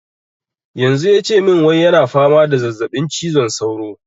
Yanzu yace mun wai yana fama da zazzaɓin cizon sauro